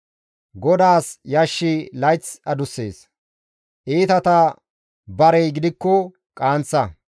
GODAAS yashshi layth adussees; iitata barey gidikko qaanththa.